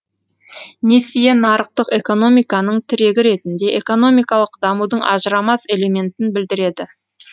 несие нарықтық экономиканың тірегі ретінде экономикалық дамудың ажырамас элементін білдіреді